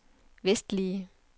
vestlige